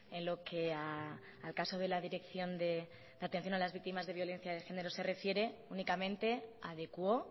en lo que al caso de la dirección de la atención a las víctimas de violencia de género se refiere únicamente adecuó